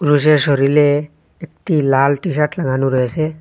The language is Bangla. পুরুষের শরীলে একটি লাল টিশার্ট লাগানো রয়েছে।